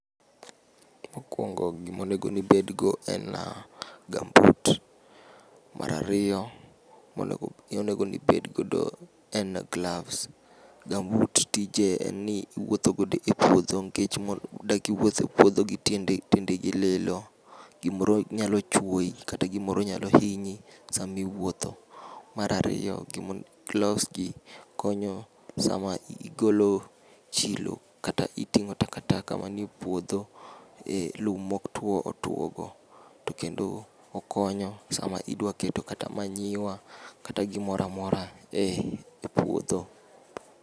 Mokuongo gima onego ni bedgo en gambut, mar ariyo monego ni ibed godo en glavs. Gambut tije en ni iwuotho godo e puodho. Nikech mond dak iwuoth e puodho gi tiendeni lilo, gimoro nyalo chuoyi kata gimoro nyalo hinyi sama iwuotho. Mar ariyo gimon glavs gi konyo sama igolo chilo kata iting'o takataka man e puodho, eh lum ma otuo otuo go. To kendo okonyo sama idwa keto kata manyiwa kata gimoro amora eh epuodho.